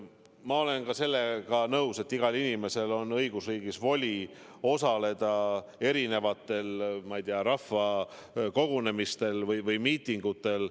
Ma olen nõus ka sellega, et igal inimesel on õigusriigis voli osaleda erinevatel rahvakogunemistel või miitingutel.